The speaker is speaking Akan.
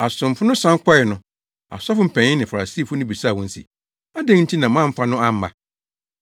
Asomfo no san kɔe no, asɔfo mpanyin ne Farisifo no bisaa wɔn se, “Adɛn nti na moamfa no amma?”